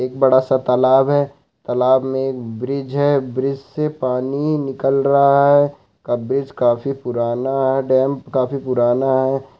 एक बड़ा सा तलाब है तलाब में एक ब्रिज है ब्रिज से पानी निकल रहा है अब ब्रिज काफी पुराना है डैम काफी पुराना है।